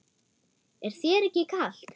Er þér ekki kalt?